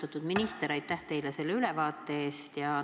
Austatud minister, aitäh teile selle ülevaate eest!